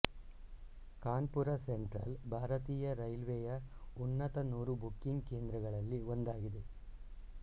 Kanpur central ಭಾರತೀಯ ರೈಲ್ವೆಯ ಉನ್ನತ ನೂರು ಬುಕಿಂಗ್ ಕೇಂದ್ರಗಳಲ್ಲಿ ಒಂದಾಗಿದೆ